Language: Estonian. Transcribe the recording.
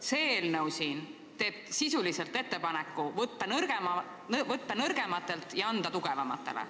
See eelnõu teeb sisuliselt ettepaneku võtta nõrgematelt ja anda tugevamatele.